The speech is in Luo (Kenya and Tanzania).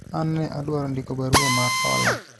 an ne adwaro ndiko barua mar hola